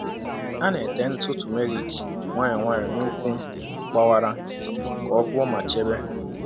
A na-èté ntụ turmeric nwayọ nwayọ n’ụkwụ gbawara ka ọ gwọọ ma chebe.